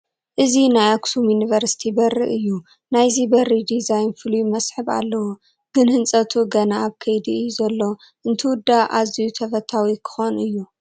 እዚ ናይ ኣኽሱም ዩኒቨርሲቲ በሪ እዩ፡፡ ናይዚ በሪ ዲዛይን ፍሉይ መስሕብ ኣለዎ፡፡ ግን ህንፀቱ ገና ኣብ ከይዲ እዩ ዘሎ፡፡ እንትውዳእ ኣዝዩ ተፈታዊ ክኾን እዩ፡፡